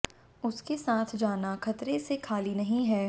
उसके साथ जाना खतरे से खाली नहीं है